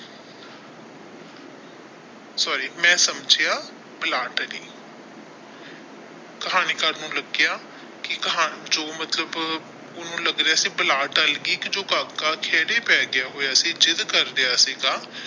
Sorry ਮੈਂ ਸਮਝਿਆ ਬਲਾ ਟਲੀ ਕਹਾਣੀਕਾਰ ਨੂੰ ਲੱਗਿਆ ਕੀ ਕਹਾਣੀ ਜੋ ਮਤਲਬ ਉਹਨੂੰ ਲੱਗ ਰਿਹਾ ਸੀ ਕੀ ਬਲਾ ਟਲ ਗਈ ਕਿ ਜੋ ਕਾਕਾ ਖੇੜੇ ਪੈ ਗਿਆ ਹੋਇਆ ਸੀ ਜਿੱਦ ਕਰ ਰਿਹਾ ਸੀ ਗਾ।